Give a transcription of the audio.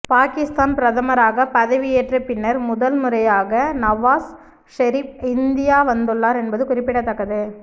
பாகிஸ்தான் பிரதமராக பதவி ஏற்ற பின்னர் முதல் முறையாக நவாஸ் ஷெரீப் இந்தியா வந்துள்ளார் என்பது குறிப்பிடத்தக்கது